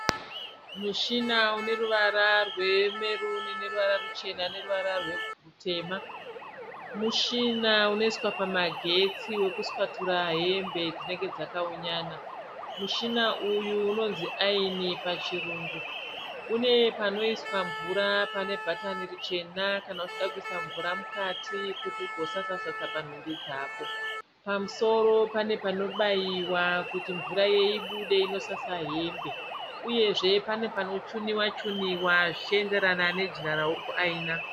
Mushina une ruvara rwemeruni neruvara ruchena neruvara rutema. Mushina unoiswa pamagetsi wokuswatura hembe dzinenge dzakaunyana. Mushina uyu unonzi ayini pachirungu. Une panoiswa mvura pane bhatani richena kana uchida kuisa mvura mukati kuti ugosasa-sasa nhumbi dzako. Pamusoro pane panobaiwa kuti mvura ibude inosasa hembe. Uyezve pane panochuniwa-chuniwa zvichienderana nejira rauri kuayina.